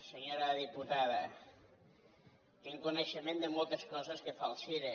senyora diputada tinc coneixement de moltes coses que fa el cire